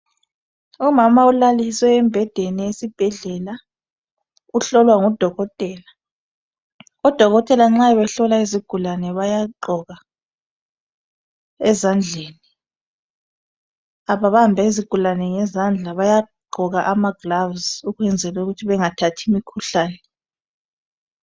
Umama ulalisiwe embhedeni esibhedlela uhlolwa ngudokotela odokotela nxa behlola izigulane bayagqoka ezandleni ababambi izigulane ngezandla bayagqoka amagilovisi ukwenzela ukuthi bengathathi imikhuhlane.